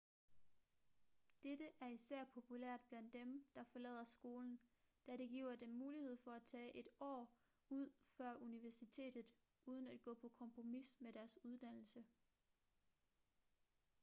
dette er især populært blandt dem der forlader skolen da det giver dem mulighed for at tage et år ud før universitetet uden at gå på kompromis med deres uddannelse